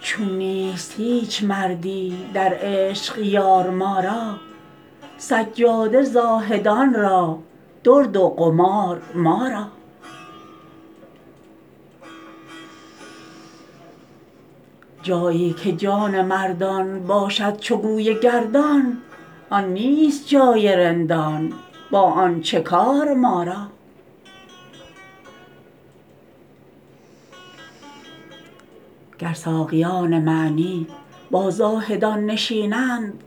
چون نیست هیچ مردی در عشق یار ما را سجاده زاهدان را درد و قمار ما را جایی که جان مردان باشد —چو گوی— گردان آن نیست جای رندان با آن چه کار ما را گر ساقیان معنی با زاهدان نشینند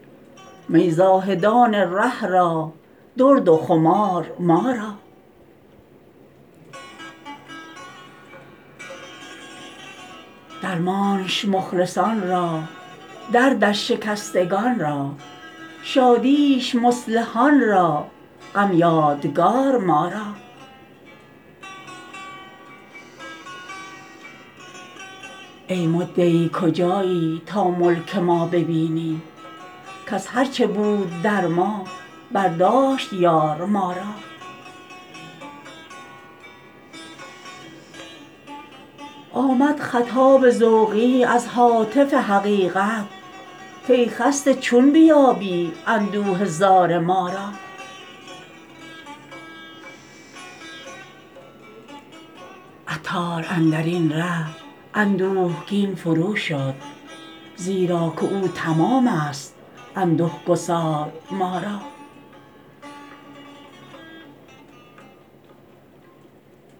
می زاهدان ره را درد و خمار ما را درمانش مخلصان را دردش شکستگان را شادیش مصلحان را غم یادگار ما را ای مدعی کجایی تا ملک ما ببینی کز هرچه بود در ما برداشت —یار— ما را آمد خطاب ذوقی از هاتف حقیقت کای خسته چون بیابی اندوه زار ما را عطار اندرین ره اندوهگین فروشد زیراکه او —تمام است— انده گسار ما را